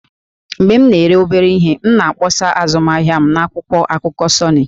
Mgbe m na-ere obere ihe, m na-akpọsa azụmahịa m n'akwụkwọ akụkọ 'Sunny'